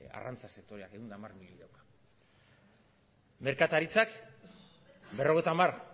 arrantza sektoreak ehun eta hamar milioi merkataritzak berrogeita hamar